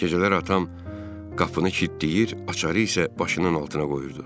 Gecələr atam qapını kilidləyir, açarı isə başının altına qoyurdu.